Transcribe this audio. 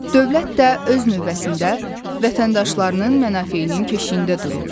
Dövlət də öz növbəsində vətəndaşlarının mənafeyinin keşiyində durur.